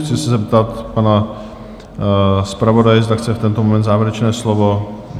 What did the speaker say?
Chci se zeptat pana zpravodaje, zda chce v tento moment závěrečné slovo?